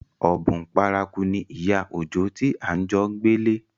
Ọ̀bùn paraku ni ìyá Òjó tí à ń jo gbélé